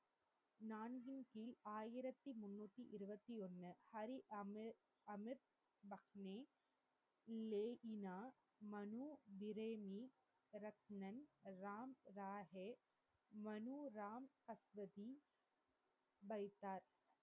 ஹரி அமிர் அமிர்பக்நே லேகினா மனு பிறேனி ரக்ணன் ராம் ராஹே மனு ராம் ஹக்வதி வைத்தார்